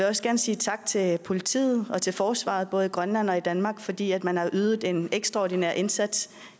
også gerne sige tak til politiet og til forsvaret både i grønland og i danmark fordi man har ydet en ekstraordinær indsats